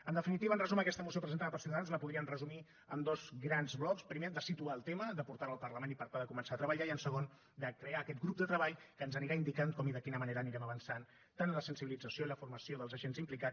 en definitiva en resum aquesta moció presentada per ciutadans la podríem resumir en dos grans blocs primer de situar el tema de portar lo al parlament i per tal de començar a treballar i en segon de crear aquest grup de treball que ens anirà indicant com i de quina manera anirem avançant tant en la sensibilització i la formació dels agents implicats